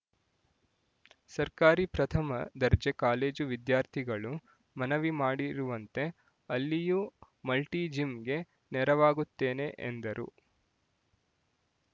ಸರ್ಕಾರಿ ಪ್ರಥಮ ದರ್ಜೆ ಕಾಲೇಜು ವಿದ್ಯಾರ್ಥಿಗಳು ಮನವಿ ಮಾಡಿರುವಂತೆ ಅಲ್ಲಿಯೂ ಮಲ್ಟಿಜಿಮ್‍ಗೆ ನೆರವಾಗುತ್ತೇನೆ ಎಂದರು